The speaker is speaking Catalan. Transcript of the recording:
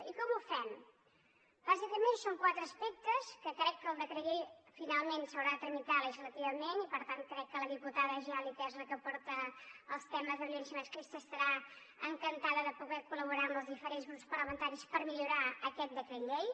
i com ho fem bàsicament són quatre aspectes que crec que el decret llei finalment s’haurà de tramitar legislativament i per tant crec que la diputada geli que és la que porta els temes de violència masclista estarà encantada de poder collaborar amb els diferents grups parlamentaris per millorar aquest decret llei